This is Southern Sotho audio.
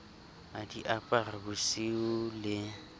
a di apara bosiu le